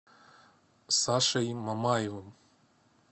сашей мамаевым